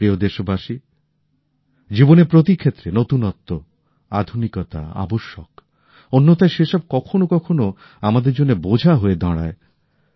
প্রিয় দেশবাসী জীবনের প্রতি ক্ষেত্রে নতুনত্ব আধুনিকতা আবশ্যক অন্যথায় সেসব কখনও কখনও আমাদের জন্য বোঝা হয়ে দাঁড়ায়